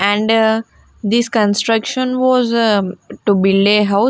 and this construction was eh to build a hou --